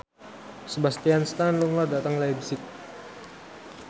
Sebastian Stan lunga dhateng leipzig